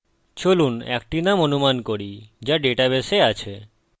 চলুন একটি নাম অনুমান করি যা ডাটাবেসে আছে